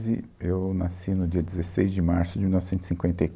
e eu nasci no dia dezesseis de março de mil novecentos e cinquenta e